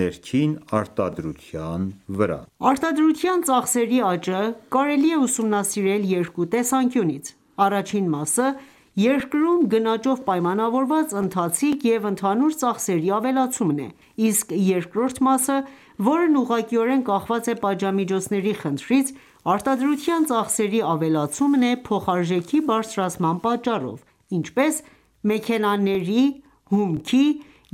ներքին արտադրության վրա։ Արտադրության ծախսերի ավելացում Արտադրության ծախսերի աճը կարելի է ուսումնասիրել երկու տեսանկյունից. Առաջին մասը երկրում գնաճով պայմանավորված ընթացիկ և ընդհանուր ծախսերի ավելացումն է, իսկ երկրորդ մասը, որն ուղղակիորեն կախված է պատժամիջոցների խնդրից, արտադրության ծախսերի ավելացումն է փոխարժեքի բարձրացման պատճառով, ինչպես (մեքենաների, հումքի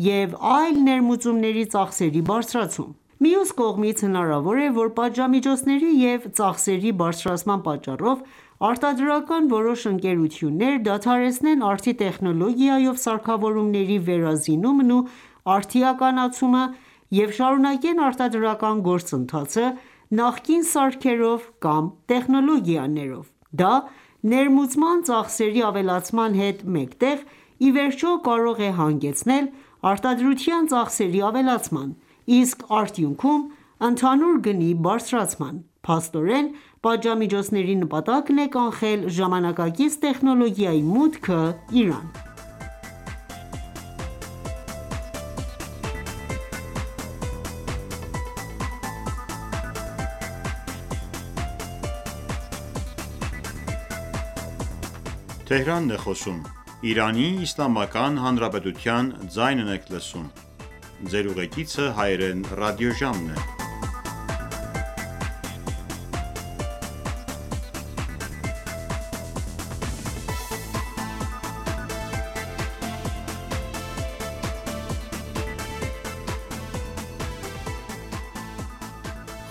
և այլ ներմուծումների ծախսերի բարձրացում): Մյուս կողմից, հնարավոր է, որ պատժամիջոցների և ծախսերի բարձրացման պատճառով արտադրական որոշ ընկերություններ դադարեցնեն արդի տեխնոլոգիայով սարքավորումների վերազինումն ու արդիականացումը և շարունակեն արտադրական գործընթացը նախկին սարքերով կամ տեխնոլոգիաներով: Դա, ներմուծման ծախսերի ավելացման հետ մեկտեղ, ի վերջո, կարող է հանգեցնել արտադրության ծախսերի ավելացման, իսկ արդյունքում՝ ընդհանուր գնի բարձրացման։ Փաստորեն, պատժամիջոցների նպատակն է կանխել ժամանակակից տեխնոլոգիայի մուտքը Իրան: Ժողովրդի գնողականության նվազումը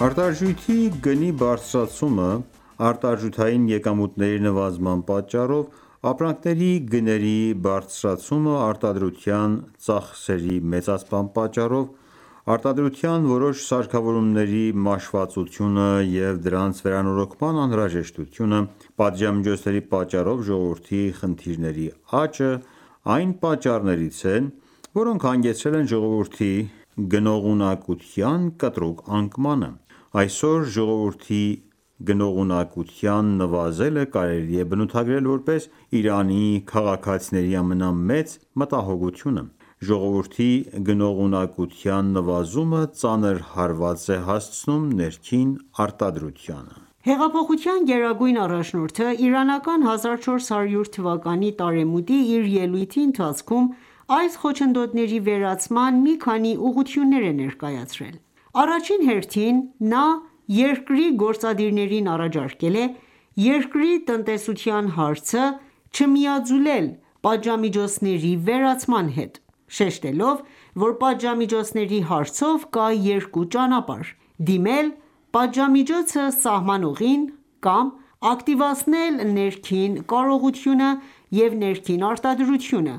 Արտարժույթի գնի բարձրացումը՝արտարժույթային եկամուտների նվազման պատճառով, ապրանքների գների բարձրացումը արտադրության ծախսերի մեծացման պատճառով, արտադրության որոշ սարքավորումների մաշվածությունը և դրանց վերանորոգման անհրաժեշտությունը, պատժամիջոցների պատճառով ժողովրդի խնդիրների աճը, այն պատճառներից են, որոնք հանգեցրել են ժողովրդի գնողունակության կտրուկ անկմանը: Այսօր ժողովրդի գնողունակության նվազելը կարելի է բնութագրել որպես Իրանի քաղաքացիների ամենամեծ մտահոգությունը: Ժողովրդի գնողունակության նվազումը ծանր հարված է հասցնում ներքին արտադրությանը: Հեղափոխության գերագույն առաջնորդը, իրանական 1400 թվականի տարեմուտի իր ելույթի ընթացքում այս խոչընդոտների վերացման մի քանի ուղղություններ է ներկայացրել: Առաջին հերթին նա երկրի գործադիրներին առաջարկել է «Երկրի տնտեսության հարցը, չմիաձուլել պատժամիջոցների վերացման հետ...»: Շեշտելով, որ պատժամիջոցների հարցով կա երկու ճանապարհ՝ դիմել պատժամիջոցը սահմանողին կամ՝ ակտիվացնել ներքին կարողությունը և ներքին արտադրությունը,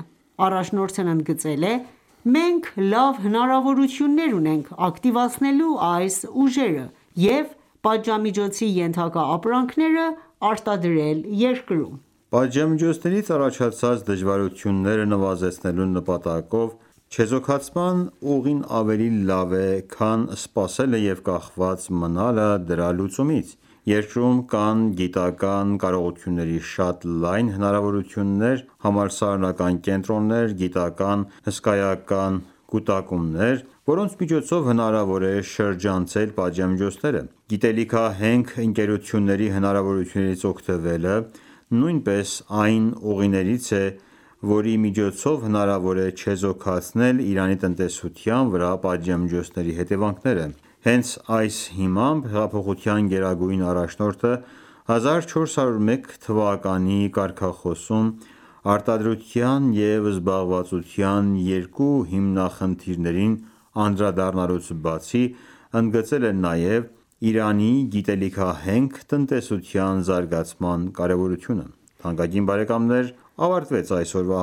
առաջնորդն ընդգծել է.«Մենք լավ հնարավորություններ ունենք ակտիվացնենլու այս ուժերը և պատժամիջոցի ենթակա ապրանքները արտադրել երկրում»: Պատժամիջոցներից առաջացած դժվարությունները նվազեցնելու նպատակով, չեզոքացման ուղին ավելի լավ է, քան սպասելը և կախված մնալը դրա լուծումից։ Երկրում կան գիտական ​​կարողությունների շատ լայն հնարավորություններ, համալսարանական կենտրոններ, գիտական ​​հսկայական կուտակումներ, որոնց միջոցով հնարավոր է շրջանցել պատժամիջոցները: Գիտելիքահենք ընկերությունների հնարավորություններից օգտվելը նույնպես այն ուղիներից է, որի միջոցով հնարավոր է չեզոքացնել Իրանի տնտեսության վրա պատժամիջոցների հետևանքները: Հենց այդ հիմամբ, հեղափոխության գերագույն առաջնորդը, 1401 թվականի կարգախոսում արտադրության և զբաղվածության երկու հիմնախնդիրներին անդրադառնալուց բացի, ընդգծել է նաև Իրանի գիտելիքահենք տնտեսության զարգացման կարևորությունը։ Թանկագին բարեկամներ ավարտվեց այսօրվա